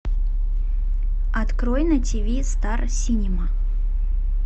открой на тв стар синема